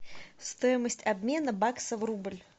стоимость обмена бакса в рубль